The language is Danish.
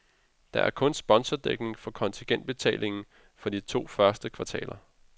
Der er kun sponsordækning for kontingentbetalingen for de to første kvartaler.